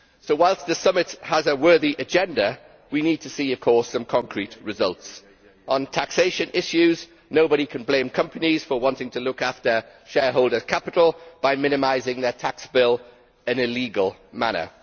While the summit has a worthy agenda, we need, of course, some concrete results. On taxation issues, nobody can blame companies for wanting to look after shareholder capital by minimising their tax bill in a legal manner.